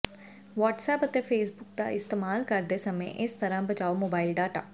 WhatsApp ਅਤੇ Facebook ਦਾ ਇਸਤੇਮਾਲ ਕਰਦੇ ਸਮੇਂ ਇਸ ਤਰ੍ਹਾਂ ਬਚਾਓ ਮੋਬਾਈਲ ਡਾਟਾ